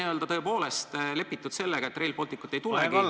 Või on tõepoolest lepitud sellega, et Rail Balticut ei tulegi?